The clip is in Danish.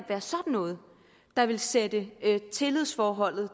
være sådan noget der ville sætte tillidsforholdet